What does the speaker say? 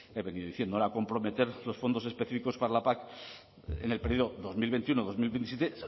he venido diciendo era comprometer los fondos específicos para la pac en el período dos mil veintiuno dos mil veintisiete